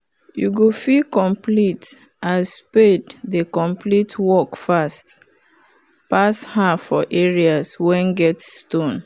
you go feel complete as spade dey complete work fast pass her for areas wen get stone